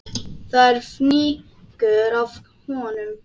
Það er fnykur af honum.